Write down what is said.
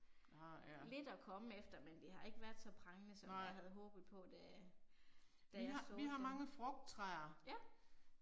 Nåh ja. Nej Vi har vi har mange frugttræer